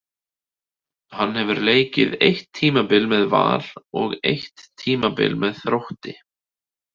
Hann hefur leikið eitt tímabil með Val og eitt tímabil með Þrótti.